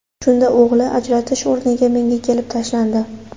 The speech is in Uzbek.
Shunda o‘g‘li ajratish o‘rniga kelib menga tashlandi.